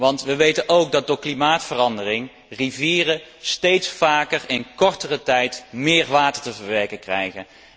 Want we weten ook dat door klimaatverandering rivieren steeds vaker in kortere tijd meer water te verwerken krijgen.